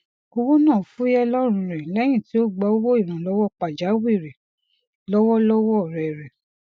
ìwọ náà fuyẹ lọrun re lẹyìn tí o gbà owó ìrànlọwọ pajawìrì lọwọ lọwọ ọrẹ rẹ